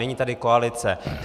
Není tady koalice.